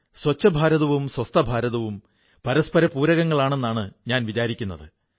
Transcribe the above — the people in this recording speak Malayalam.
സ്വച്ഛഭാരതവും സ്വസ്ഥഭാരതവും പരസ്പര പൂരകങ്ങളാണെന്നാണ് ഞാൻ വിചാരിക്കുന്നത്